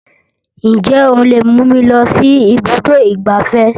Ǹjẹ́ o lè mú mi lọ sí ibùdó ìgbáfẹ́?